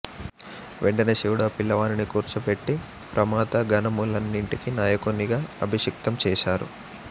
వెంటనే శివుడు ఆ పిల్లవానిని కూర్చోబెట్టి ప్రమథగణములన్నింటికి నాయకునిగా అభిషిక్తం చేశారు